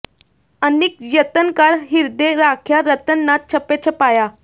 ਅਨਿਕ ਜਤਨ ਕਰ ਹਿਰਦੇ ਰਾਖਿਆ ਰਤਨ ਨਾ ਛਪੈ ਛਪਾਇਆ